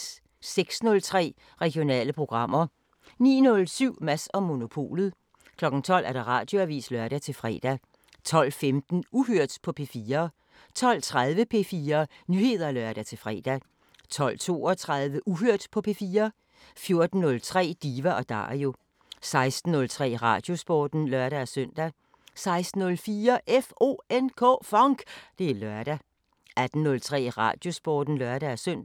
06:03: Regionale programmer 09:07: Mads & Monopolet 12:00: Radioavisen (lør-fre) 12:15: Uhørt på P4 12:30: P4 Nyheder (lør-fre) 12:32: Uhørt på P4 14:03: Diva & Dario 16:03: Radiosporten (lør-søn) 16:04: FONK! Det er lørdag 18:03: Radiosporten (lør-søn)